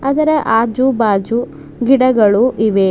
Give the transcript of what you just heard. ಅದರ ಆಜು ಬಾಜು ಗಿಡಗಳು ಇವೆ.